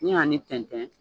Ni n y'a ni tɛntɛn